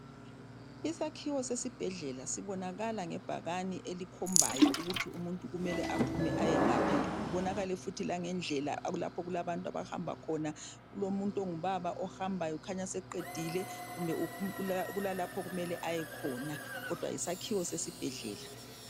Isakhiwo sesibhedlela sibonakala nge bhekani elikhombayo ukuthi umuntu kumele aphume aye ngaphi kubonakale futhi la ngendlela lapho okula okulabantu abahamba khona kulo muntu ongubaba ohambayo kukhanya seqedile kumbe kulalapho okumele ayekhona kodwa yisakhiwo sesibhedlela .